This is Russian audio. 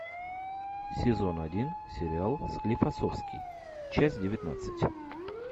сезон один сериал склифосовский часть девятнадцать